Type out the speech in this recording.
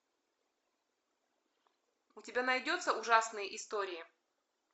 у тебя найдется ужасные истории